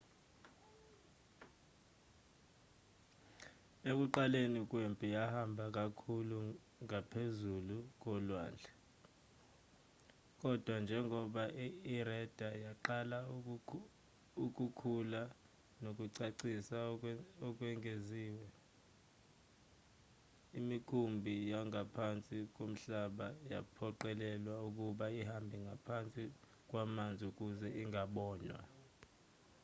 ekuqaleni kwempi yahamba kakhulu ngaphezu kolwandle kodwa njengoba ireda yaqala ukukhula nokucacisa okwengeziwe imikhumbi yangaphansi komhlaba yaphoqelelwa ukuba ihambe ngaphansi kwamanzi ukuze ingabonwa